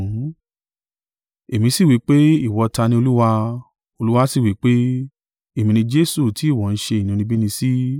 “Èmi sì wí pé, ‘Ìwọ ta ni, Olúwa?’ “Olúwa sì wí pé, ‘Èmi ni Jesu tí ìwọ ń ṣe inúnibíni sí.